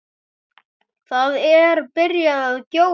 Það er byrjað að gjóla.